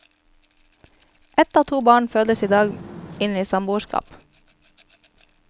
Ett av to barn fødes i dag inn i samboerskap.